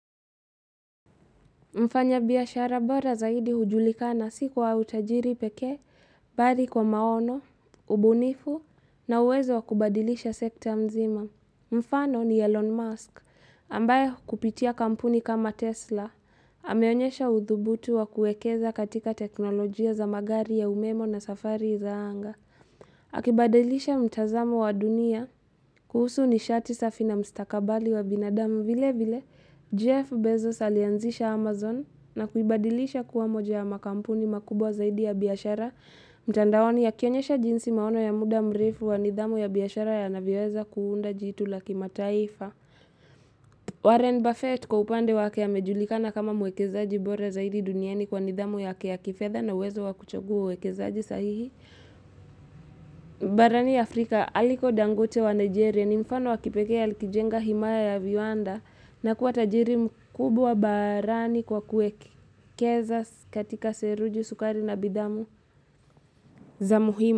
Mfanyabiashara bora zaidi hujulikana si kwa utajiri peke, bali kwa maono, ubunifu na uwezo wa kubadilisha sekta mzima. Mfano ni Elon Musk ambaye kupitia kampuni kama Tesla. Ameonyesha udhubutu wa kuekeza katika teknolojia za magari ya umeme na safari za anga. Akibadilisha mtazamo wa dunia kuhusu nishati safi na mstakabali wa binadamu. Vile vile, Jeff Bezos alianzisha Amazon na kuibadilisha kuwa moja ya makampuni makubwa zaidi ya biashara, mtandaoni yakionyesha jinsi maono ya muda mrefu wa nidhamu ya biashara yanavyoweza kuunda jitu la kimataifa. Warren Buffett kwa upande wake amejulikana kama mwekezaji bora zaidi duniani kwa nidhamu yake ya kifedha na uwezo wa kuchagua uekezaji sahihi. Barani Afrika aliko dangote wa Nigeria ni mfano wa kipekee alikijenga himaya ya viwanda na kuwa tajiri mkubwa barani kwa kuekeza katika seruji sukari na bidhaa za muhimu.